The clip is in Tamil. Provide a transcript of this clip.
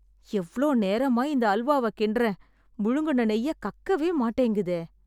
எவ்ளோ நேரமா இந்த அல்வாவ கிண்ட்றேன்... முழுங்குன நெய்ய கக்கவே மாட்டேங்குதே.